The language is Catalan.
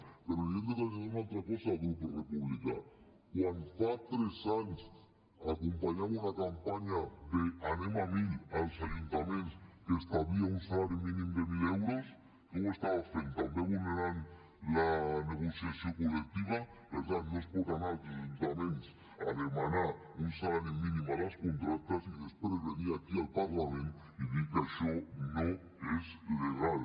però li hem de traslladar una altra cosa altra cosa al grup republicà quan fa tres anys acompanyava una campanya d’ anem a mil als ajuntaments que establia un salari mínim de mil euros que ho estava fent també vulnerant la negociació col·lectiva per tant no es pot anar als ajuntaments a demanar un salari mínim a les contractes i després venir aquí al parlament i dir que això no és legal